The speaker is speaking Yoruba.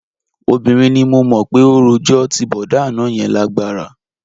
Obìnrin ni mo mọ̀ pé ó rojọ́, ti bọ̀dá àná yẹn lágbára